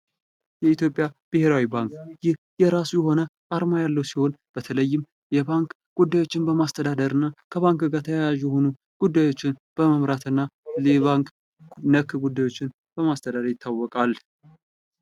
የኢትዮጵያ ብሔራዊ ባንክ ይህ የራሱ የሆነ አርማ ያለው ሲሆን በተለይም የባንክ ጉዳዮችን በማስተዳደር እና ከባንክ ጋር ተያያዥ የሆኑ ጉዳዮችን በመምራት እና ባንክ ነክ የሆኑ ጉዳዮችን በማስተዳደር ይታወቃል።